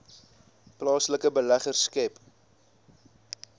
plaaslike beleggers skep